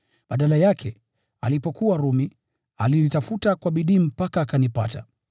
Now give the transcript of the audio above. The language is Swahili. Badala yake, alipokuwa Rumi, alinitafuta kwa bidii mpaka akanipata.